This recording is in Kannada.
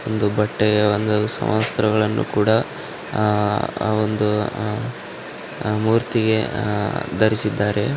ಒಂದು ಬಟ್ಟೆಯ ಒಂದು ಸಮವಸ್ತ್ರವನ್ನುಕೂಡ ಆಹ್ಹ್ ವೊಂದು ಮೂರ್ತಿಗೆ ಧರಿಸಿದ್ದಾರೆ.